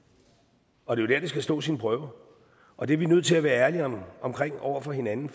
og det er jo dér det skal stå sin prøve og det er vi nødt til at være ærlige om over for hinanden